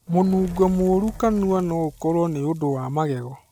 Mũnungo mũru kanua no ũkorwo nĩ ũndũ wa magego.